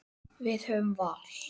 Við höfum val.